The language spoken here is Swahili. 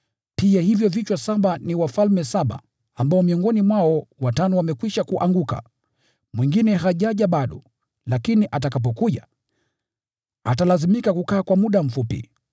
Pia hivyo vichwa saba ni wafalme saba ambao miongoni mwao watano wamekwisha kuanguka, yupo mwingine hajaja bado, lakini atakapokuja, atalazimika kukaa kwa muda mfupi.